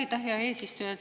Aitäh, hea eesistuja!